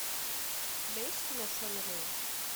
у тебя есть кино шона леви